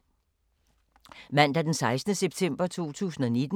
Mandag d. 16. september 2019